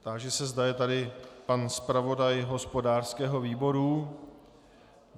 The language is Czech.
Táži se, zda je tady pan zpravodaj hospodářského výboru.